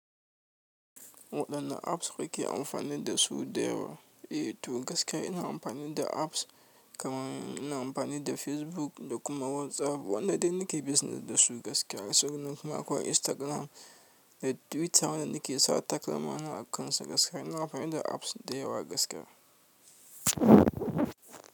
Waɗanne apps kuke amfani da su da yawa? Eh to gaskiya ina amfani da apps kamar ina amfani da Facebook da kuma WhatsApp. Wannan dun nike business da su gaskiya. Sabin nan kuma akwai Instagram da Twitter da nake sa takalmana a kan su gaskiya. Ina amfani da apps da yawa gaskiya.